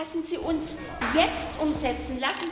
Lassen Sie uns jetzt umsetzen!